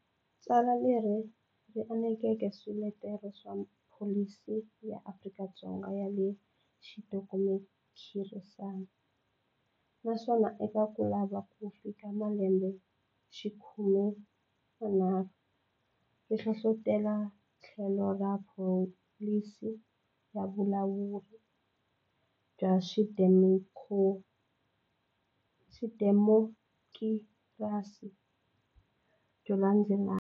Tsala leri ri anekeke swiletelo swa pholisi ya Afrika-Dzonga ya xidemokirasi naswona, eka ku lava ku fika malembe xikhume manharhu, ri hlohlotele tlhelo ra pholisi ya vulawuri bya xidemokirasi byo landzelelana.